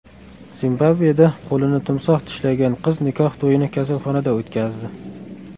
Zimbabveda qo‘lini timsoh tishlagan qiz nikoh to‘yini kasalxonada o‘tkazdi.